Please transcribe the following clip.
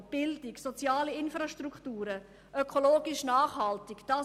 Innovation, Bildung, Infrastrukturen, die ökologisch nachhaltig sind: